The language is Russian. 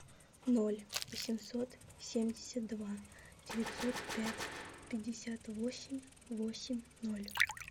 ноль восемьсот семьдесят два девятьсот пять пятьдесят восемь восемь ноль